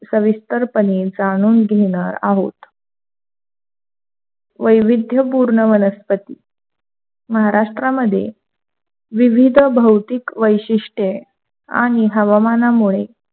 सविस्तरपणे जाणून घेणार आहोत. वैविध्य पूर्ण वनस्पती महाराष्ट्र मध्ये, विविध भौतिक वैशिष्ट्ये आणि हवामानामुळे